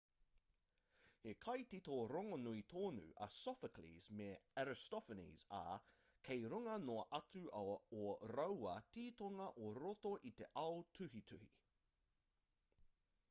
he kaitito rongonui tonu a sophocles me aristophanes ā kei runga noa atu ō rāua titonga i roto i te ao tuhituhi